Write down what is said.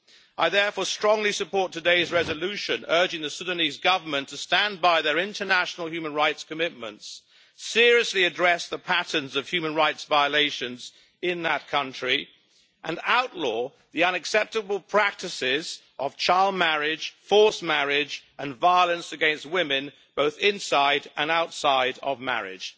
I therefore strongly support today's resolution urging the Sudanese Government to stand by their international human rights commitments, seriously address the patterns of human rights violations in that country, and outlaw the unacceptable practices of child marriage, forced marriage and violence against women, both inside and outside of marriage.